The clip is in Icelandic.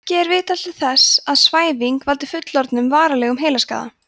ekki er vitað til þess að svæfing valdi fullorðnum varanlegum heilaskaða